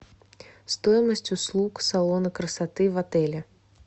стоимость услуг салона красоты в отеле